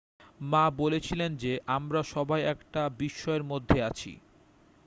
"মা বলেছিলেন যে "আমরা সবাই একটা বিস্ময়ের মধ্যে আছি""।